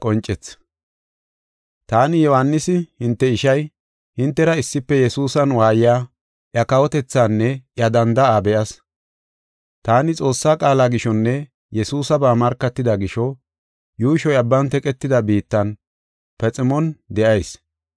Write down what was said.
Taani, Yohaanisi, hinte ishay, hintera issife Yesuusan waayiya, iya kawotethaanne iya danda7aa be7as. Taani Xoossaa qaala gishonne Yesuusaba markatida gisho, yuushoy abban teqetida biittan, Paximon de7ayis.